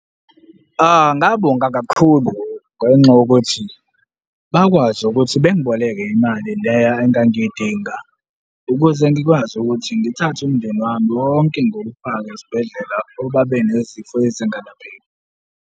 Ngabonga kakhulu ngenxa yokuthi bakwazi ukuthi bengiboleke imali leya engangiyidinga ukuze ngikwazi ukuthi ngithathe umndeni wami wonke ngiwufake esibhedlela ngoba benezifo ezingalapheki.